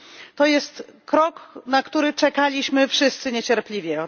To jest krok, na który czekaliśmy wszyscy niecierpliwie.